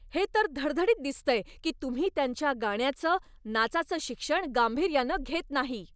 हे तर धडधडीत दिसतंय की तुम्ही त्यांच्या गाण्याचं, नाचाचं शिक्षण गांभीर्यानं घेत नाही.